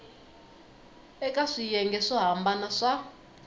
eka swiyenge swo hambana swa